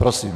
Prosím.